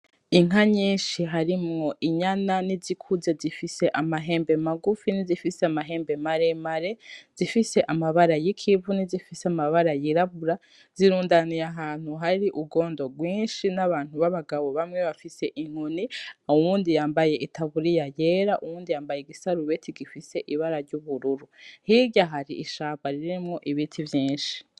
Inka nyinshi harimwo inyana nizikuze zifise amahembe magufi nizifise amahembe maremare, izifise amabara y'ikivu nizifise amabara y'irabura, zirundaniye ahantu hari urwondo rwinshi n'abantu b'abagabo bamwe bafise inkoni, uwundi yambaye itaburiya yera, uwundi yambaye igisarubeti gifise ibara ry'ubururu, hirya hari ishamba ririmwo ibiti vyinshi.